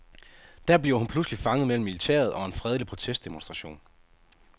Der bliver hun pludselig fanget mellem militæret og en fredelig protestdemonstration.